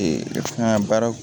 fɛn ka baara